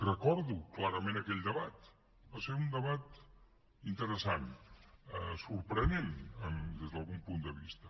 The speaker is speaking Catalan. recordo clarament aquell debat va ser un debat interessant sorprenent des d’algun punt de vista